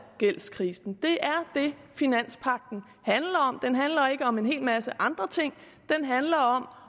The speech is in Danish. gældskrisen det er det finanspagten handler om den handler ikke om en hel masse andre ting den handler om